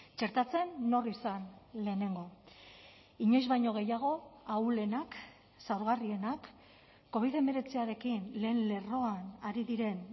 txertatzen nor izan lehenengo inoiz baino gehiago ahulenak zaurgarrienak covid hemeretziarekin lehen lerroan ari diren